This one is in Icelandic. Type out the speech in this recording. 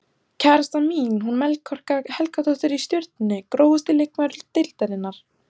Kærastan mín hún Melkorka Helgadóttir í Stjörnunni Grófasti leikmaður deildarinnar?